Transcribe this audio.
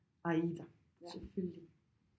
Aida selvfølgelig